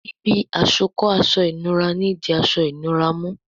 Ibi àsokọ́ aṣọ ìnura ní dì aṣọ ìnura mú